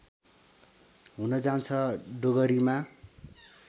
हुन जान्छ डोगरीमा